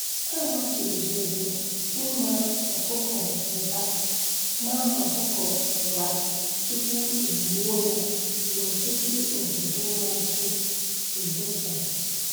A machibidoro ị ma ọkụkọ ụra ma ọkụkọ ụra tupu e gbuo ya n'ọtụtụ obodo na-asụ ibosa.